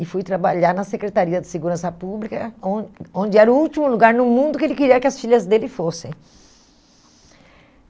E fui trabalhar na Secretaria de Segurança Pública, on onde era o último lugar no mundo que ele queria que as filhas dele fossem.